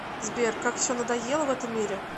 сбер как все надоело в этом мире